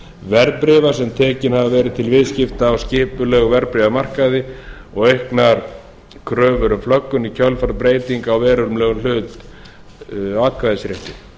verðbréfa sem tekin hafa verið til viðskipta á skipulegum verðbréfamarkaði og auknar kröfur um flöggun í kjölfar breytinga á verulegum hlut á atkvæðisrétti